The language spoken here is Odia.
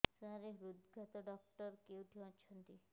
ସାର ହୃଦଘାତ ଡକ୍ଟର କେଉଁଠି ଅଛନ୍ତି